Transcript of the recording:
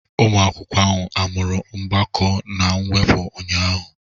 Ụmụ akwụkwọ ahụ amụru mgbakọ na mwepụ ụnyahụ?